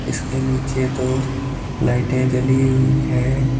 उसके नीचे दो लाइटें जली हुई हैं।